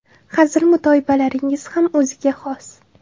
Hazil-mutoyibalaringiz ham o‘ziga xos.